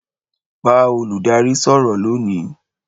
Bá olùdarí sọ̀rọ̀ lónìí